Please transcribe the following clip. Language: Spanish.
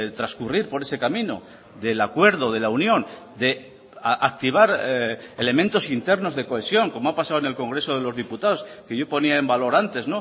transcurrir por ese camino del acuerdo de la unión de activar elementos internos de cohesión como ha pasado en el congreso de los diputados que yo ponía en valor antes